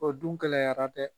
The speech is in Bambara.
O dun gɛlɛyara dɛ!